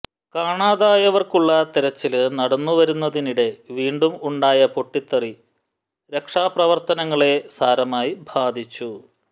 കാണാതായവര്ക്കുള്ള തെരച്ചില് നടന്നുവരുന്നതിനിടെ വീണ്ടും ഉണ്ടായ പൊട്ടത്തെറി രക്ഷാപ്രവര്ത്തനങ്ങളെ സാരമായി ബാധിച്ചു